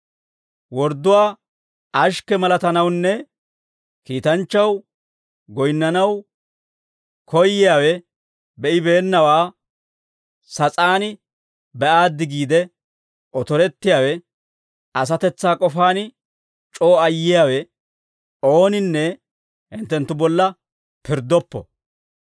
Wordduwaa ashikke malatanawunne kiitanchchaw goyinnanaw koyyiyaawe, be'ibeennawaa sas'aan be'aaddi giide otorettiyaawe, asatetsaa k'ofaan c'oo ayyiyaawe, ooninne hinttenttu bolla pirddoppo.